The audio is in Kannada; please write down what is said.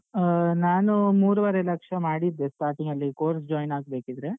ಹಾ ನಾನೂ ಮೂರುವರೆ ಲಕ್ಷ ಮಾಡಿದ್ದೆ starting ಅಲ್ಲಿ course join ಆಗ್ಬೇಕಿದ್ರೆ.